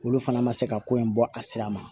Olu fana ma se ka ko in bɔ a sira ma